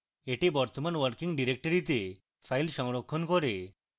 এটি বর্তমান কার্যকর ডিরেক্টরীতে file সংরক্ষণ করে